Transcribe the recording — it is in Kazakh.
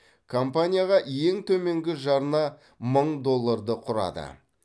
компанияға ең төменгі жарна мың долларды құрады